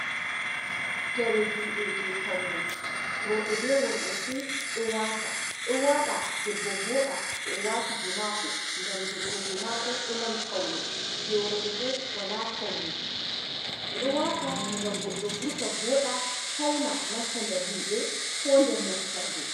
Jawe jude je paune roɓe be worbe fu do wata do wada debbo voda to owati je mako gam debbo je mako do mari paune je worɓe bo wala paune ɓe do wata gam goddo vurta voda fauna nastadar himbe kodr moftarde.